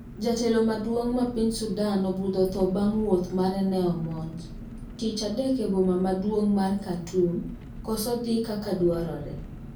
Jatelo maduong' ma piny Sudan obudho tho bang wouth mare ne omonj. tich adek e boma maduong mar Khaurtum koso dhi kaka dwarore